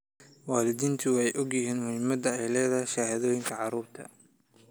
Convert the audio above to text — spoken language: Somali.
Waalidiintu waxay og yihiin muhiimadda ay leedahay shahaadooyinka carruurta.